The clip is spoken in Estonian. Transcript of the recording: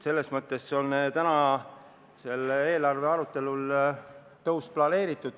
Selles mõttes on selles eelarves tõus planeeritud.